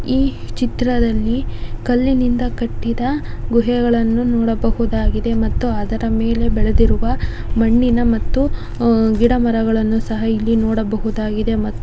ಈ ಚಿತ್ರದಲ್ಲಿ ಕಲ್ಲಿನಿಂದ ಕಟ್ಟಿದ ಗುಹೆಗಳನ್ನು ನೋಡಬಹುದಾಗಿದೆ ಮತ್ತು ಅದರ ಮೇಲೆ ಬೆಳೆದಿರುವ ಮಣ್ಣಿನ ಮತ್ತು ಗಿಡ ಮರಗಳನ್ನು ಸಹ ಇಲ್ಲಿ ನೋಡಬಹುದಾಗಿದೆ ಮತ್ತು--